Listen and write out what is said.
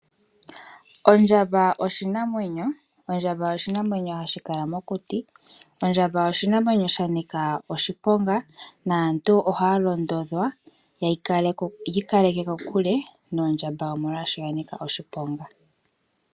Ondjamba oshinamwenyo, ondjamba oshinamwenyo hashi kala mokuti, ondjamba oshinamwenyo shanika oshiponga naantu ohaya londodhwa yiikaleke kokule nondjamba molwaasho yanika oshiponga.